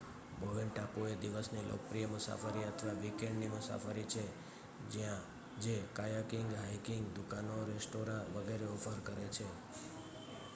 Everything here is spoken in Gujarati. બોવેન ટાપુ એ દિવસની લોકપ્રિય મુસાફરી અથવા વીકેન્ડ ની મુસાફરી છે જે કાયાકિંગ હાઇકિંગ દુકાનો રેસ્ટોરાં વગેરે ઓફર કરે છે